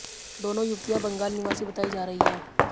दोनों युवतियां बंगाल निवासी बताई जा रही है